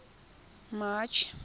march